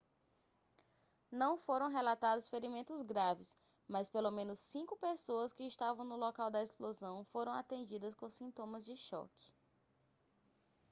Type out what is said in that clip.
não foram relatados ferimentos graves mas pelo menos cinco pessoas que estavam no local da explosão foram atendidas com sintomas de choque